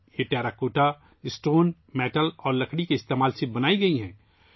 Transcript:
یہ ٹیراکوٹا، پتھر، دھات اور لکڑی کا استعمال کرتے ہوئے بنائے گئے ہیں